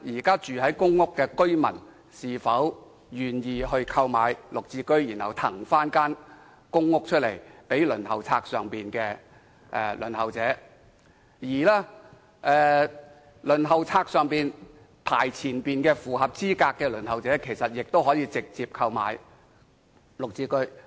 公屋居民如果願意購買綠置居，便可騰出其公屋單位予輪候者，而在輪候冊上排較前位置並符合資格的輪候者，其實亦可直接購買綠置居。